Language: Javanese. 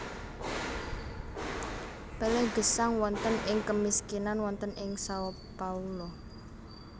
Pelé gesang wonten ing kemiskinan wonten ing Sao Paulo